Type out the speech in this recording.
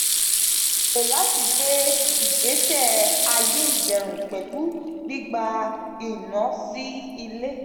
a gbèrò lati gbé ìgbésẹ ayé ìdẹ̀rùn pẹ̀lú gbígba iná sí ilé